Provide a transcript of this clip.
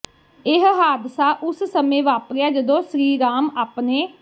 ਇਹ ਹਾਦਸਾ ਉਸ ਸਮੇਂ ਵਾਪਰਿਆ ਜਦੋਂ ਸ੍ਰੀ ਰਾਮ ਆਪਣੇ